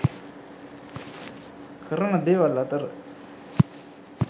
කරන දේවල් අතර